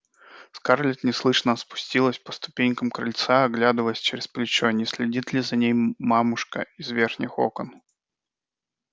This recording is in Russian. скарлетт неслышно спустилась по ступенькам крыльца оглядываясь через плечо не следит ли за ней мамушка из верхних окон